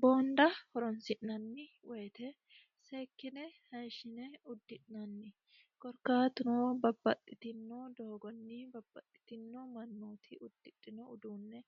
boonda horonsi'nanni woyite seekkine hayishine uddi'nanni korkaatunoo babbaxxitino doogonni babbaxxitino mannooti uddidhino uduunne